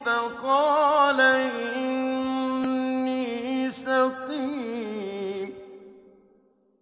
فَقَالَ إِنِّي سَقِيمٌ